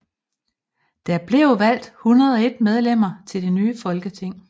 Der blev valgt 101 medlemmer til det nye folketing